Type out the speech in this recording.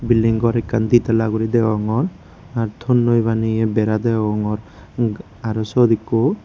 bilding gor ekkan de tala gure deyongor attonnoi baneye bera deyongor aro siot ekko.